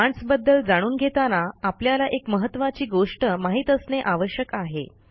commands बद्दल जाणून घेताना आपल्याला एक महत्त्वाची गोष्ट माहित असणे आवश्यक आहे